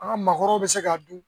An ka maakɔrɔw bɛ se k'a dun